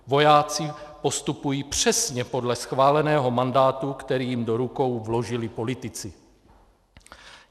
Vojáci postupují přesně podle schváleného mandátu, který jim do rukou vložili politici.